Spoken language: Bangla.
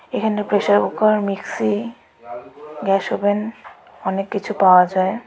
এখানে pressure cooker mixie gas oven অনেক কিছু পাওয়া যায় .